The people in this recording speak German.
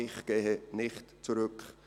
«Ich gehe nicht zurück.